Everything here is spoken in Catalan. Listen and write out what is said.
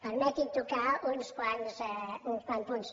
permeti’m tocar uns quants punts